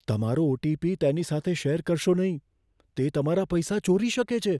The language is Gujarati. તમારો ઓ. ટી. પી. તેની સાથે શેર કરશો નહીં. તે તમારા પૈસા ચોરી શકે છે.